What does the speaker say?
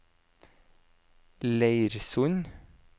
Leirsund